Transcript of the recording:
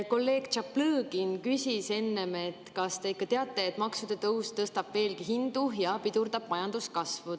Kolleeg Tšaplõgin küsis enne, kas te ikka teate, et maksude tõus tõstab veelgi hindu ja pidurdab majanduskasvu.